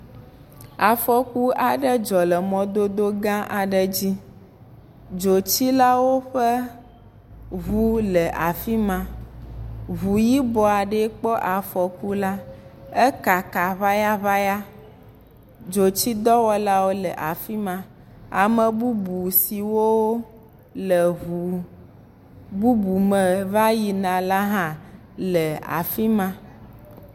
Afɔku aɖe dzɔ le mɔdodo gã aɖe dzi, dzotsilawo ƒe ŋu le afi ma, ŋu yibɔ aɖee kpɔ afɔkua, ekaka ŋayaŋaya, dzotsidɔwɔlawo le afi ma ame bubu siwo le ŋu bubu siwo va yina hã le afi ma.